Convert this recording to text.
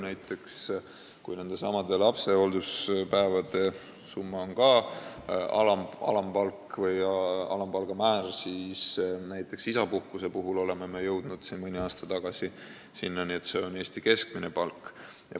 Näiteks, kui lapsehoolduspäevi hüvitatakse ka alampalga määra alusel, siis näiteks isapuhkusega jõudsime mõni aasta tagasi sinnani, et aluseks on Eesti keskmine palk.